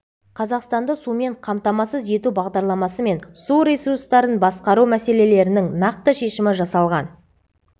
қазақстанды сумен қамтамасыз ету бағдарламасы мен су ресурстарын басқару мәселелерінің нақты шешімі жасалған